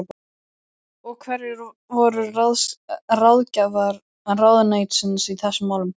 Og hverjir voru ráðgjafar ráðuneytisins í þessum málum?